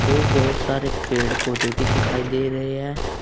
और बहुत सारे पेड़ पौधे भी दिखाई दे रहे हैं।